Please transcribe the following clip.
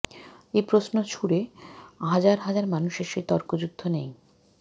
এ প্রশ্ন ছুঁড়ে হাজার হাজার মানুষের সেই তর্কযুদ্ধ নেই